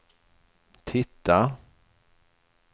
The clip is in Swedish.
titta